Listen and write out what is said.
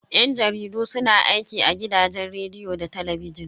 Yan jaridu su na aiki a gidajen rediyo da talabijin.